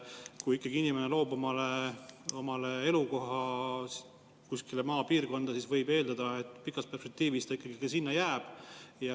Kui ikkagi inimene elukohaks maapiirkonna, siis võib eeldada, et pikas perspektiivis ta sinna ka jääb.